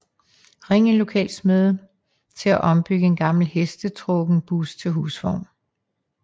Ring en lokal smed til at ombygge en gammel hestetrukken bus til husvogn